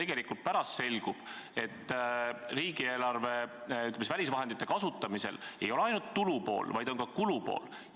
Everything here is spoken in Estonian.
Tegelikult pärast selgub, et välisvahendite kasutamisel pole mängus ainult tulupool, vaid on ka kulupool.